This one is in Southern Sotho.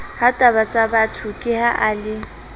hatabatsabatho ke ha a le